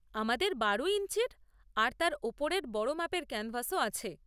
আমাদের বারো ইঞ্চির আর তার ওপরের বড় মাপের ক্যানভাসও আছে।